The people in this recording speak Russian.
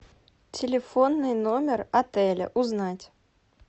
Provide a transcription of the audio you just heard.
телефонный номер отеля узнать